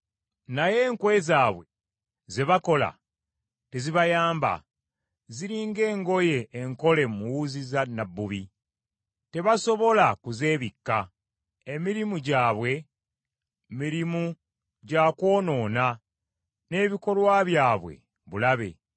Naye enkwe zaabwe ze bakola tezibayamba, ziri ng’engoye enkole mu wuzi za nnabbubi! Tebasobola kuzeebikka. Emirimu gyabwe mirimu gya kwonoona, n’ebikolwa byabwe bulabe.